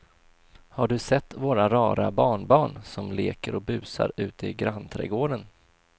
Har du sett våra rara barnbarn som leker och busar ute i grannträdgården!